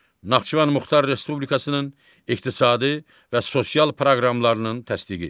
Naxçıvan Muxtar Respublikasının iqtisadi və sosial proqramlarının təsdiqi.